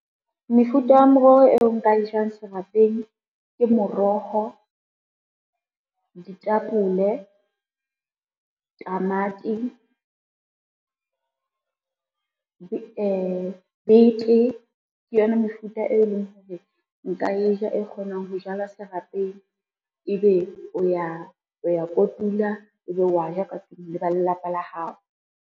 Mefuta ya meroho eo nka e jang serapeng ke moroho, ditapole, tamati, bete, ke yona mefuta e leng hore nka e ja e kgonang ho jala serapeng ebe o ya kotula, ebe wa ja ka tlung le ba lelapa la hao.